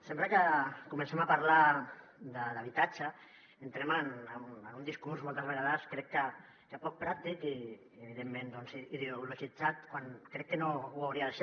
sempre que comencem a parlar d’ha·bitatge entrem en un discurs moltes vegades crec que poc pràctic i evidentment ideologitzat quan crec que no ho hauria de ser